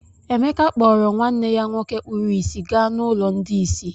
Emeka kpọọrọ nwanne ya nwoke kpuru ìsì gaa n’ụlọ ndị ìsì.